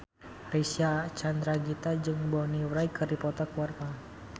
Reysa Chandragitta jeung Bonnie Wright keur dipoto ku wartawan